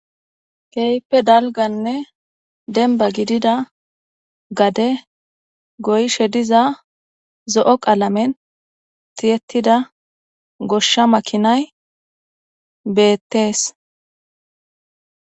Keype dalganne denba gidida gade goyshe diza zo'o qalamen tiyettida goshsha makinay beettees.